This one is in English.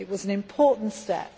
It was an important step.